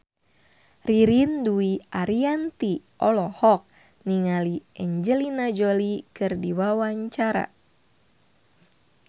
Ririn Dwi Ariyanti olohok ningali Angelina Jolie keur diwawancara